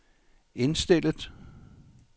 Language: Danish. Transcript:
indstillet